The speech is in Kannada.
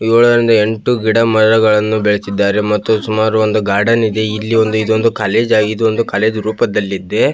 ಏಳರಿಂದ ಎಂಟು ಗಿಡಮರಗಳನ್ನು ಬೆಳೆಸಿದ್ದಾರೆ ಮತ್ತು ಸುಮಾರು ಒಂದು ಗಾರ್ಡನ್ ಇದೆ ಇಲ್ಲಿ ಒಂದು ಇದೊಂದು ಕಾಲೇಜು ಆಗಿದ್ದು ಒಂದು ಕಾಲೇಜು ರೂಪದಲ್ಲಿದೆ.